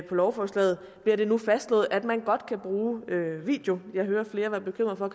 lovforslaget bliver det nu fastslået at man godt kan bruge video jeg hører flere der er bekymret for